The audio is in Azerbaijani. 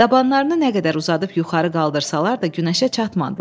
Dabanlarını nə qədər uzadıb yuxarı qaldırsalar da günəşə çatmadılar.